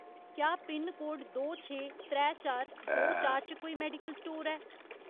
क्या पिनकोड दो छे, त्रै चार, दो चार च कोई मेडिकल स्टोर ऐ ?